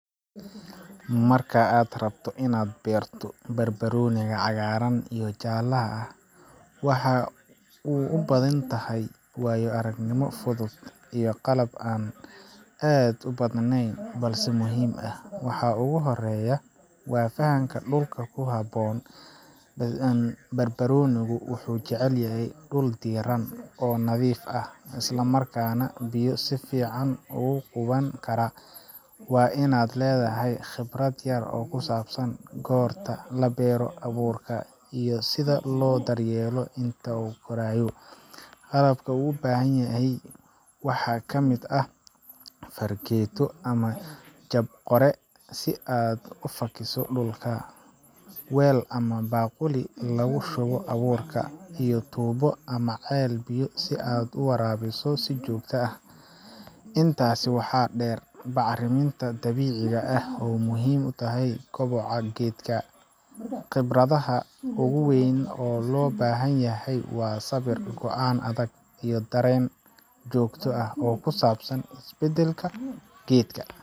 Marka aad rabto inaad beerto barbarooniga cagaaran iyo jaalaha ah, waxaa ubahan tahay waayo aragnimo fudud iyo qalab aad ubadneen balse muhiim ah, waxaa uhooreya, waa fahanka dulka kuhaboon, barbarooniga wuxuu ubahan yahay waa dul diiran oo nadiif ah, isla markaana biyo si fican ugu quban Kara, waa inaad ledahay khibrad yar oo kusaabsan gorta la beero abuurka iyo sida loo dar yeelo inta uu koraayo, qalabka uu ubahan yahay waxaa kamid ah farageeto ama jab qore si aad ufasho dulka, weel ama baquli lagu shubo abuurka, iyo tuubo ama ceel biyo si aad uwaraabiso si joogta ah, intaas waxaa deer bacraminta dabiiciga ah oo muhiim utahay koboca geedka, khibradaha ugu weyn oo loo bahan yahay waa Sabir, goaan adag iyo dareen joogto ah oo kusaabsan is bedelka geedka.